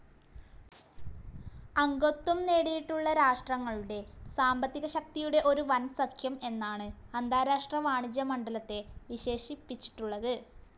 അംഗത്വം നേടിയിട്ടുള്ള രാഷ്ട്രങ്ങളുടെ സാമ്പത്തികശക്തിയുടെ ഒരു വൻസഖ്യം എന്നാണു അന്താരാഷ്ട്ര വാണിജ്യ മണ്ഡലത്തെ വിശേഷിപ്പിച്ചിട്ടുള്ളത്.